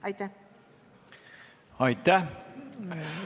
Aitäh!